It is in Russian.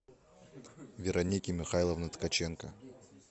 вероники михайловны ткаченко